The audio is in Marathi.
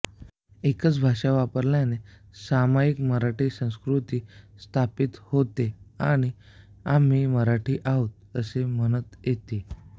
एकच भाषा वापरल्याने सामायिक मराठी संस्कृती स्थापित होते आणि आम्ही मराठी आहोत असे म्हणत येते